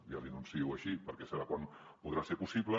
ja l’hi anuncio així perquè serà quan podrà ser possible